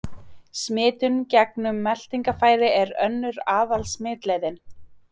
Smitun gegnum meltingarfæri er önnur aðal-smitleiðin.